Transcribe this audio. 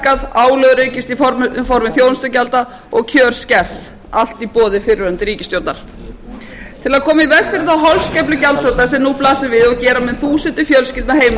skattar hækkað álag aukist í formi þjónustugjalda og kjör skert allt í boði fyrrverandi ríkisstjórnar til að koma í veg fyrir þá holskeflu gjaldþrota sem nú blasir við og gera mun þúsundir fjölskyldna heimilislausar þarf að